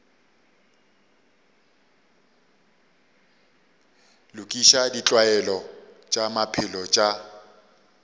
lokiša ditlwaelo tša maphelo tša